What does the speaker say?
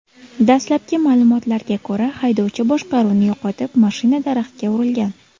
Dastlabki ma’lumotlarga ko‘ra, haydovchi boshqaruvni yo‘qotib, mashina daraxtga urilgan.